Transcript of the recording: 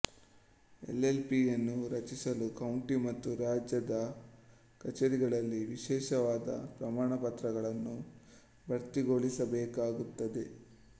L L P ಯನ್ನು ರಚಿಸಲು county ಮತ್ತು ರಾಜ್ಯದ ಕಚೇರಿಗಳಲ್ಲಿ ವಿಶೇಷವಾದ ಪ್ರಮಾಣಪತ್ರಗಳನ್ನು ಭರ್ತಿಗೊಳಿಸಬೇಕಾಗುತ್ತದೆ